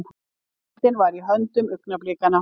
Veröldin var í höndum augnablikanna.